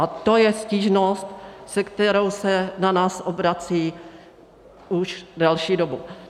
A to je stížnost, se kterou se na nás obracejí už delší dobu.